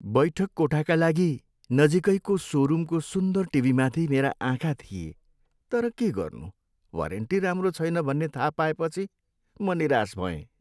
बैठक कोठाका लागि नजिकैको सोरुमको सुन्दर टिभीमाथि मेरा आँखा थिेए तर के गर्नु वारेन्टी राम्रो छैन भन्ने थाहा पाएपछि म निराश भएँ।